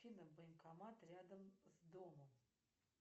афина банкомат рядом с домом